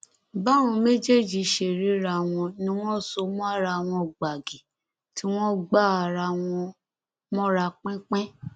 báwọn méjèèjì ṣe ríra wọn ni wọn so mọ ara wọn gbàgì tí wọn gbá ara wọn mọra pinpin